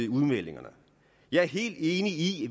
udmeldingerne jeg er helt enig i